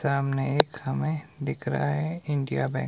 सामने एक हमें दिख रहा है इंडिया बैंक ।